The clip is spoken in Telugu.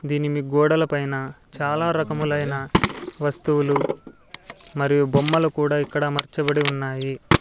దీన్ని మీ గోడలపైన చాలా రకములైన వస్తువులు మరియు బొమ్మలు కూడా ఇక్కడ అమర్చబడి ఉన్నాయి.